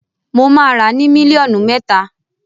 Mo máa ràá ni mílíọ̀nù mẹ́ta.